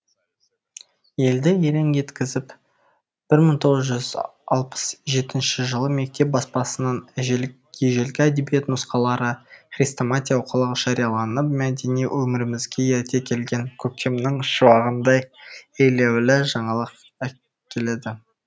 елді елең еткізіп бір мың тоғыз жүз алпыс жетінші жылы мектеп баспасынан ежелгі әдебиет нұсқалары хрестоматия оқулық жарияланып мәдени өмірімізге ерте келген көктемнің шуағындай елеулі жаңалық әкеледі